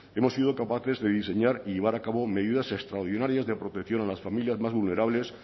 hemos sido capaces de diseñar y llevar a cabo medidas extraordinarias de protección a las familias más vulnerables